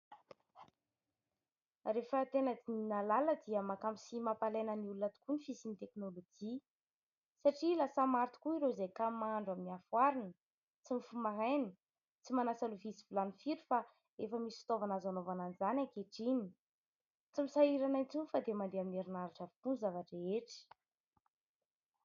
Rehefa tena dinihina lalina dia mahakamo sy mampalaina ny olona tokoa ny fisian'ny teknolojia. Satria lasa maro tokoa ireo izay kamo mahandro amin'ny afo arina, tsy mifoha maraina, tsy manasa lovia sy vilany firy fa efa misy fitaovana azo anaovana an'izany ankehitriny. Tsy misahirana intsony fa dia mandeha amin'ny herinaratra avokoa ny zava-drehetra.